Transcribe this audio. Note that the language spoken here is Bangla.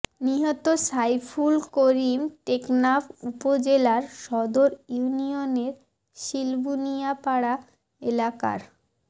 নিহত সাইফুল করিম টেকনাফ উপজেলার সদর ইউনিয়নের শিলবুনিয়াপাড়া এলাকার মো